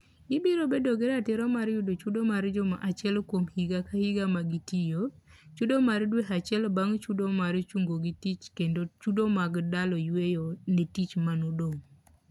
Gibiro bedo gi ratiro mar yudo chudo mar juma achiel kuom higa ka higa ma gitiyo, chudo mar dwe acheil bang' chudo mar chungogi tich kendo chudo mag dalo yweyo ne tich manodong'.